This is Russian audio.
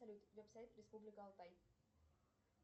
салют веб сайт республика алтай